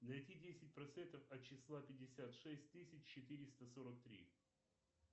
найти десять процентов от числа пятьдесят шесть тысяч четыреста сорок три